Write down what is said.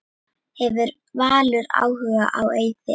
Hefur Valur áhuga á Eiði?